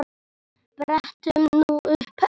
Brettum nú upp ermar.